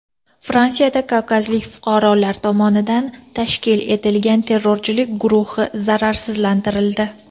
Fransiyada kavkazlik fuqarolar tomonidan tashkil etilgan terrorchilik guruhi zararsizlantirildi.